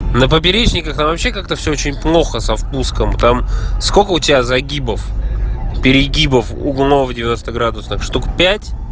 на поперечниках оно вообще как-то всё очень плохо со впуском там сколько у тебя загибов перегибов углов девяносто градусов штук пять